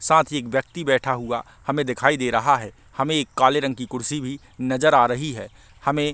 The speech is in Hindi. साथ ही व्यक्ति बैठा हुआ हमे दिखाई दे रहा है हमे एक काले रंग की कुर्सी भी नज़र आ रही है हमे--